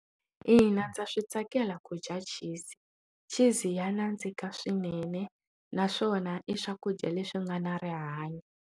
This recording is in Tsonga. Ina, ndza switsakela kudya cheese cheese ya nandzika swinene naswona i swakudya leswi nga na rihanyo.